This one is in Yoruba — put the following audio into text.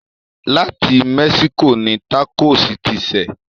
Láti Mexico ni tákò ti ṣẹ̀.